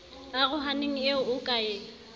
arohaneng eo o ka e